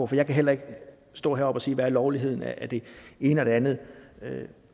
for jeg kan heller ikke stå heroppe og sige hvad lovligheden er af det ene og det andet